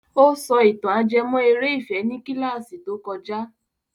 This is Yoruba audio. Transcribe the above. Ó sọ ìtàn ajẹmọ́ eré ìfẹ́ ní kílàsì tó kojá.